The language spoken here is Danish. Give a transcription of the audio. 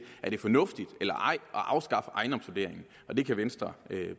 er fornuftigt at afskaffe ejendomsvurderingen og det kan venstre